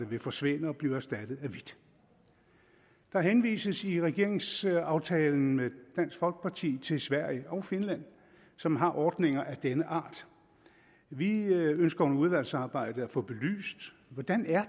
vil forsvinde og blive erstattet af hvidt der henvises i regeringsaftalen med dansk folkeparti til sverige og finland som har ordninger af denne art vi ønsker under udvalgsarbejdet at få belyst hvordan